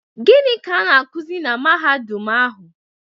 Gịnị ka a na-akuzi na Mahadum ahụ?